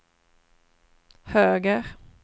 höger